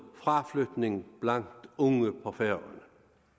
fraflytning blandt unge på færøerne